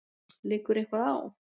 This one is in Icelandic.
Liggur eitthvað á?